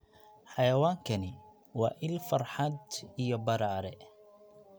Xayawaankani waa il farxad iyo badhaadhe.